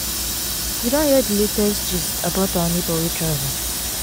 you don hear di latest gist about our neighbour wey travel?